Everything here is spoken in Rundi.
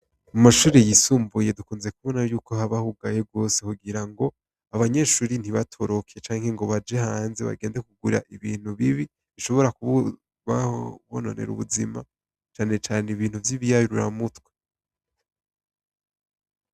Mu mashure yisumbuye dukunze kubona yuko haba hugaye rwose kugira ngo abanyeshure ntibatoroke canke ngo baje hanze bagende kugura ibintu bibi bishobora kubononera ubuzima cane cane ibintu vy'ibiyayuramutwe.